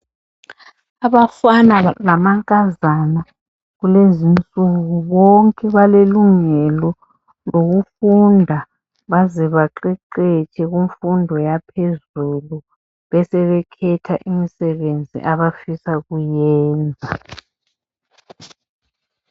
Abafana lamankazana kulezi insuku bonke balelungelo lokufunda baze baqede imfundo yaphezulu besebekhetha imisebenzi abafisa ukuyiyenza.